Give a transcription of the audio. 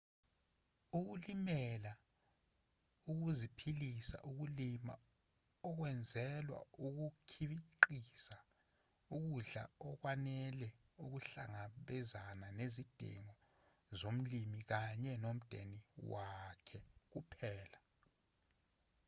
ukulimela ukuziphilisa ukulima okwenzelwa ukukhiqiza ukudla okwanele ukuhlangabezana nezidingo zomlimi kanye nomdeni wakhe kuphela